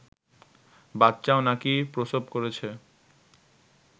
বাচ্চাও নাকি প্রসব করেছে